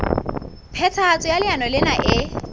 phethahatso ya leano lena e